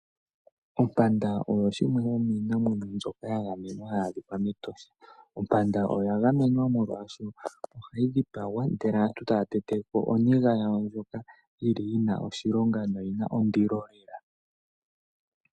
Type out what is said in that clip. Ompanda oyo shimwe yomiinamwenyo ya gamenwa hayi adhikwa mEtosha, Ompanda oya gamenya molwaasho ohayi dhipagwa ndele aantu taya tetepo oniga ya wo ndjoka yina oshilonga noyi na ondilo lela.